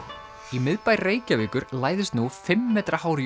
í miðbæ Reykjavíkur læðist nú fimm metra hár